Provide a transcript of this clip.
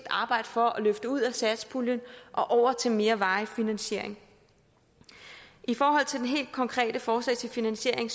arbejde for at løfte ud af satspuljen og over til mere varig finansiering i forhold til det helt konkrete forslag til finansiering